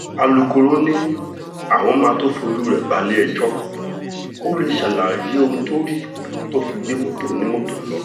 alūkkóró ni àwọn máa tóó fojú rẹ balẹ̀-ẹjọ́ kó lè ṣàlàyé ohun tó rí tó fi gbé mọ́tò onímọ́tò lọ